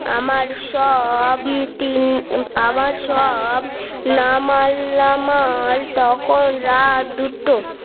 আমার সব আবার সব নাম আল্লামা তখন রাত দুটো